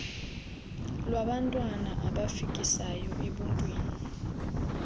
lwabantwana abafikisayo ebuntwini